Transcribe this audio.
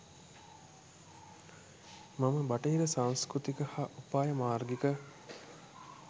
මම බටහිර සංස්කෘතික හා උපායමාර්ගික